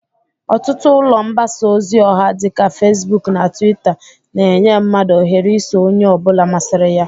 Ọtụtụ ụlọ mbasa ozi ọha dị ka Fesbụk na Twita, na-enye mmadụ ohere iso onye ọbụla masịrị ya.